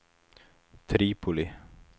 Tripoli